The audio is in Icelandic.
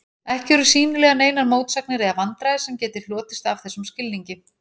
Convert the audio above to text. Ekki eru sýnilega neinar mótsagnir eða vandræði sem geti hlotist af þessum skilningi.